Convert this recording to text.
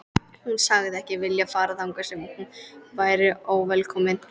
Hún sagðist ekki vilja fara þangað sem hún væri óvelkomin.